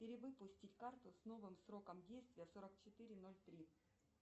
перевыпустить карту с новым сроком действия сорок четыре ноль три